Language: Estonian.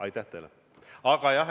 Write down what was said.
Aitäh teile!